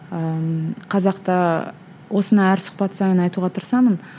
ыыы қазақта осыны әр сұхбат сайын айтуға тырысамын